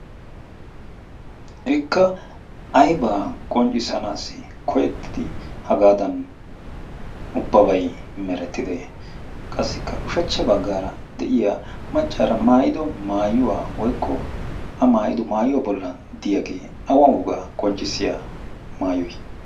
Ikka ayba qonccissanaassi koyettidi hegaadan ubbabay merettidee? Qassikka ushshachcha baggaara de'iyaa maccaara maayido maayuwa woykko a maayido maayuwa bollan diyagee awa wogaa qonccissiya maayoy?